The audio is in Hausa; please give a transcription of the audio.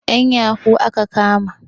'Yan yahoo aka kama.